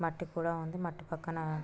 మట్టి కూడా ఉంది మట్టి పక్కనా--